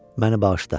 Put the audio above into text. Məni bağışla.